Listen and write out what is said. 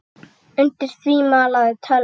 Undir því malaði tölvan.